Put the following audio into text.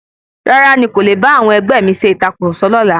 Rárá, ní kò le bá awọn ẹgbẹ́ mi ṣe ìtàkurọ̀sọ lọ́la.